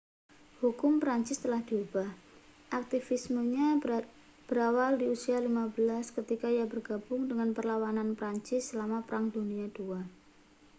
hukum prancis telah diubah aktivismenya berawal di usia 15 ketika ia bergabung dengan perlawanan prancis selama perang dunia ii